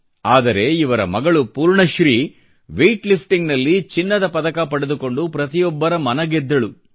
ಆದರೆ ಇವರ ಮಗಳು ಪೂರ್ಣಶ್ರೀ ವೆಯಿಟ್ಲಿಫ್ಟಿಂಗ್ನಲ್ಲಿ ಚಿನ್ನದ ಪದಕ ಪಡೆದುಕೊಂಡು ಪ್ರತಿಯೊಬ್ಬರ ಮನ ಗೆದ್ದಳು